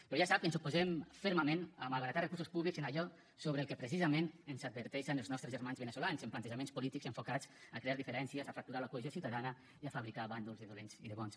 però ja sap que ens oposem fermament a malbaratar recursos públics en allò sobre el que precisament ens adverteixen els nostres germans veneçolans en plantejaments polítics enfocats a crear diferències a fracturar la cohesió ciutadana i a fabricar bàndols de dolents i de bons